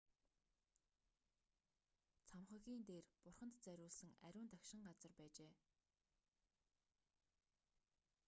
цамхагийн дээр бурханд зориулсан ариун дагшин газар байжээ